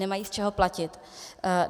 Nemají z čeho platit.